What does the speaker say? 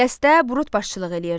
Qəstdə Brut başçılıq eləyirdi.